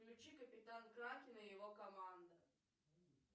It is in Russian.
включи капитан кракен и его команда